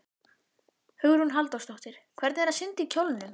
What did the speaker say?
Hugrún Halldórsdóttir: Hvernig er að synda í kjólnum?